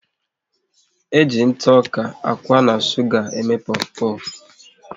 E ji ntụ ọka, akwa na suga eme pofu pofu